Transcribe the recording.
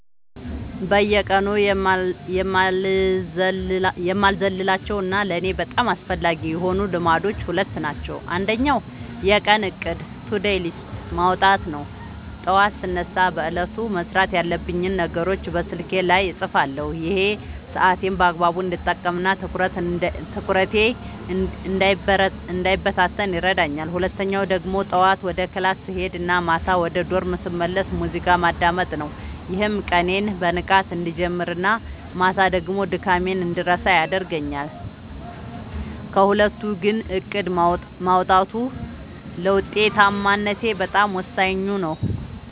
በየቀኑ የማልዘልላቸው እና ለእኔ በጣም አስፈላጊ የሆኑት ልማዶች ሁለት ናቸው። አንደኛው የቀን እቅድ (To-Do List) ማውጣት ነው፤ ጠዋት ስነሳ በዕለቱ መስራት ያለብኝን ነገሮች በስልኬ ላይ እጽፋለሁ። ይሄ ሰዓቴን በአግባቡ እንድጠቀምና ትኩረቴ እንዳይበታተን ይረዳኛል። ሁለተኛው ደግሞ ጠዋት ወደ ክላስ ስሄድ እና ማታ ወደ ዶርም ስመለስ ሙዚቃ ማዳመጥ ነው፤ ይህም ቀኔን በንቃት እንድጀምርና ማታ ደግሞ ድካሜን እንድረሳ ያደርገኛል። ከሁለቱ ግን እቅድ ማውጣቱ ለውጤታማነቴ በጣም ወሳኙ ነው።